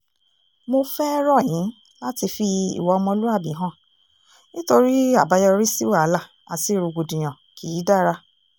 mo fẹ́ẹ́ rọ̀ yín láti fi ìwà ọmọlúàbí hàn nítorí àbáyọrí sí wàhálà àti rògbòdìyàn kì í dára